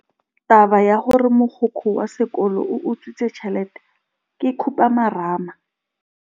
Taba ya gore mogokgo wa sekolo o utswitse tšhelete ke khupamarama.